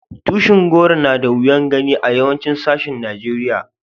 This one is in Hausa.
Tushin goro na da wiyan gani a yawancin sashin Nijeriya.